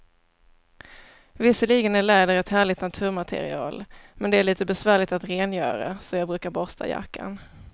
Visserligen är läder ett härligt naturmaterial, men det är lite besvärligt att rengöra, så jag brukar borsta jackan.